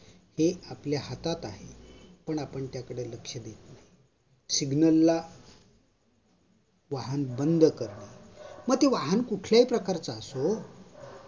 हे आपल्या हातात आहे पण आपण त्याकडे लक्ष देत नाही Signal ला वाहन बंद करणे म ते वाहन कुठल्याही प्रकारचा असो